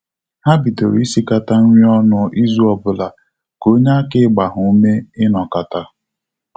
Ha bidoro isikata nri ọnụ izu obula, ka onyeaka ịgba ha ume inokata